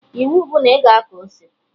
Iwu bụ na ị ga akọ ose!